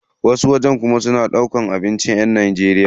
Wasu wajen kuma suna yin duka abincin yan Najeriya.